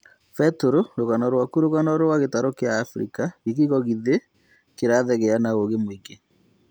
Peter - rũgano rwaku rũgano rwa gĩtaro kĩa Afrika, gĩgigo gĩthĩ kĩrathegea na ũũgĩ mũingĩ